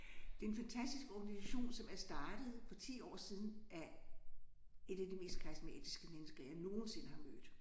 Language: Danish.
Det er en fantastisk organisation som er startet for 10 år siden af et af de mest karismatiske mennesker jeg nogensinde har mødt